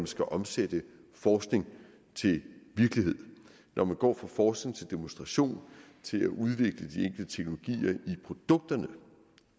skal omsætte forskning til virkelighed når vi går fra forskning til demonstration til at udvikle i produkterne